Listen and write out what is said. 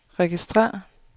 registrér